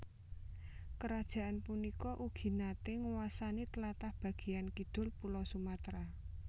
Kerajaan punika ugi naté nguwasani tlatah bagéyan kidul Pulo Sumatera